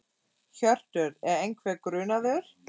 Hjörtur: Er einhver grunaður?